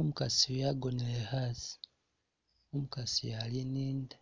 Umukaasi eyu agonele hasi, umukaasi eyu ali ni'nda,